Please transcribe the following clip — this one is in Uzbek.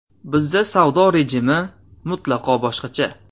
Bizda savdo rejimi mutlaqo boshqacha.